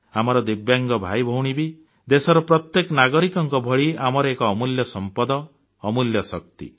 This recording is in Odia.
ଆମର ଦିବ୍ୟାଙ୍ଗ ଭାଇଭଉଣୀ ବି ଦେଶର ପ୍ରତ୍ୟେକ ନାଗରିକଙ୍କ ଭଳି ଆମର ଏକ ଅମୂଲ୍ୟ ସମ୍ପଦ ଅମୂଲ୍ୟ ଶକ୍ତି